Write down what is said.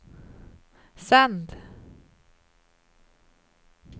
sänd